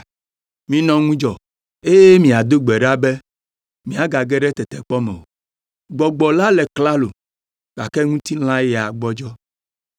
Minɔ ŋudzɔ, eye miado gbe ɖa be miage ɖe tetekpɔ me o. Gbɔgbɔ la le klalo, gake ŋutilã ya gbɔdzɔ.”